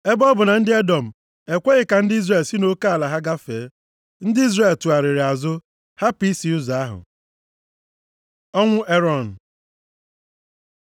Ebe ọ bụ na ndị Edọm ekweghị ka ndị Izrel si nʼoke ala ha gafee, ndị Izrel tụgharịrị azụ hapụ isi ụzọ ahụ. Ọnwụ Erọn